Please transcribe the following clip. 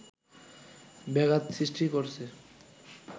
ব্যাঘাত সৃষ্টি করছে